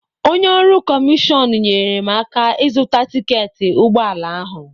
Onye ọrụ kọmishọn nyeere m aka ịzụta tiketi ụgbọala ahụ.